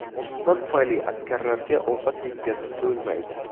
Otishma tufayli askarlarga ovqat yetkazib bo‘lmaydi.